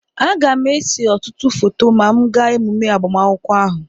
Aga m ese ọtụtụ foto ma m gaa emume agbamakwụkwọ ahụ